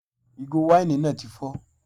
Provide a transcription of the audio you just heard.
Ìgò wáìnì náà tí fọ